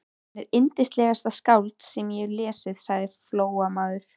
Hann er yndislegasta skáld sem ég hef lesið, sagði Flóamaður.